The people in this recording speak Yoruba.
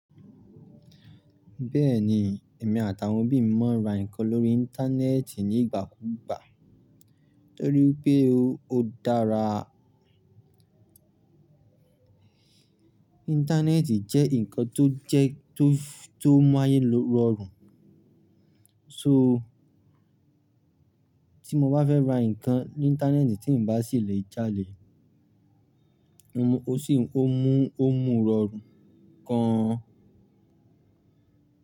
Bẹ́ẹ̀ni, èmi àti àwọn òbí mi máa ń ra nǹkan lórí Íńtánẹ́ẹ̀tì ní ìgbà kúùgbà nítorí wipé ó odára. Íńtánẹ́ẹ̀tì jẹ́ nǹkan tó jẹ tó mú ayé rọrùn. So tí mo bá fẹ́ ra nǹkan ní Íńtánẹ́ẹ̀tì tí ǹ bá sì lè jalè, n ó sì ó mú ó mú rọrùn gan an.